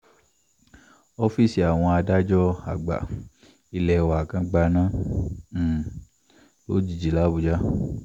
ọ́fíìsì àwọn adájọ́ àgbà ilé wa kan gbaná um lójijì làbújá